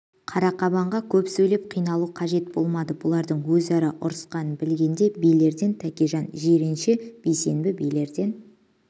қарақабанға көп сейлеп қиналу қажет болмады бұлардың өзара ұғысқанын білгенде билерден тәкежан жиренше бейсенбі билерден